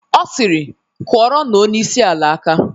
Ọ siri"Kụorọ nụ onyeisi ala aka".